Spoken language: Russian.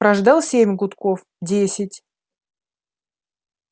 прождал семь гудков десять